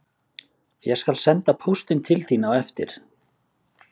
En ekki er fyrr búið að fínpússa nýjustu útgáfuna en í ljós koma alvarlegir gallar.